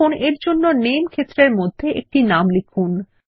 এখন এর জন্য নামে ক্ষেত্রের মধ্যে একটি নাম লিখুন